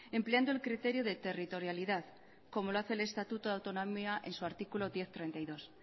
empleando el criterio de territorialidad como lo hace el estatuto de autonomía en su artículo diez punto treinta y dos